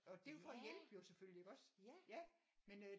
Og det er jo for at hjælpe jo selvfølgelig iggås men øh